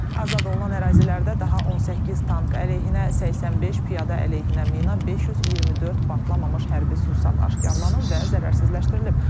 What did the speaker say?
Azad olunan ərazilərdə daha 18 tank əleyhinə, 85 piyada əleyhinə mina, 524 partlamamış hərbi sursat aşkarlanıb və zərərsizləşdirilib.